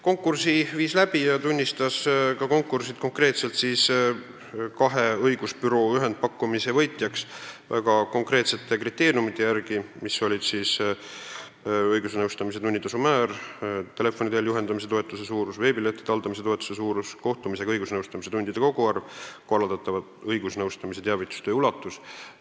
Konkursi võitjaks tunnistati konkreetselt kaks õigusbürood väga konkreetsete kriteeriumide järgi – õigusnõustamise tunnitasu määr, telefoni teel juhendamise toetuse suurus, veebilehtede haldamise toetuse suurus, kohtumisega õigusnõustamise tundide koguarv ja korraldatava õigusnõustamise teavitustöö ulatus.